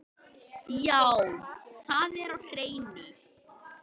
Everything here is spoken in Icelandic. Já, það er á hreinu.